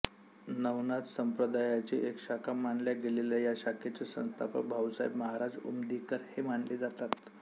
नवनाथ संप्रदायाची एक शाखा मानल्या गेलेल्या या शाखेचे संस्थापक भाऊसाहेब महाराज उमदीकर हे मानले जातात